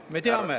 Me teame ...